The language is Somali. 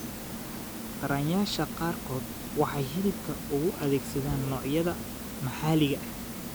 Taranayaasha qaarkood waxay hilibka u adeegsadaan noocyada maxalliga ah.